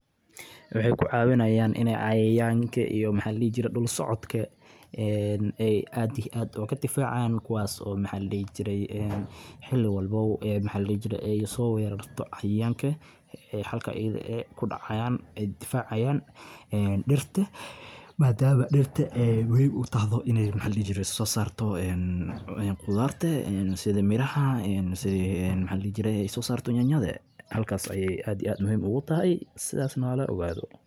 Waxay kucawinayan iney cayayanka iyo waxa ladihi jire dulsocodka ay aad iyo aad oo kudhifacayan kuwas oo maxa ladihi jirey xili walbo maxa ladihi jirey so werarto cayayanka halka ayada eh kudacayan ay dhifacayan dirta madhamo dirta ay muhim utahdo iney maxa ladihi jire sosarto qudarta sida miraha sida maxa ladihi jirey nyanyada halkaso ay aad iyo aad muhim ugu tahay sidasna halo ogaado